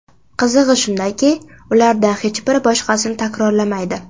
Qizig‘i shundaki, ulardan hech biri boshqasini takrorlamaydi.